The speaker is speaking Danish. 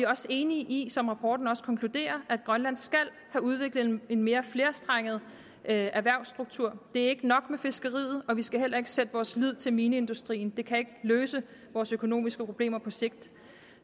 også enige i som rapporten konkluderer at grønland skal have udviklet en mere flerstrenget erhvervsstruktur det er ikke nok med fiskeriet og vi skal heller ikke sætte vores lid til mineindustrien det kan ikke løse vores økonomiske problemer på sigt